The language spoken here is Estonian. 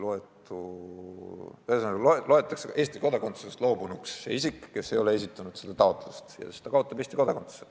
Ühesõnaga, see isik, kes ei ole vastavat taotlust esitanud, loetakse Eesti kodakondsusest loobunuks ja ta kaotab Eesti kodakondsuse.